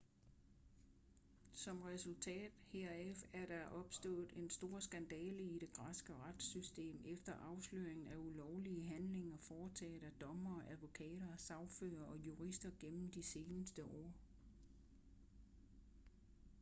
som resultat heraf er der opstået en stor skandale i det græske retssystem efter afsløringen af ulovlige handlinger foretaget af dommere advokater sagførere og jurister gennem de seneste år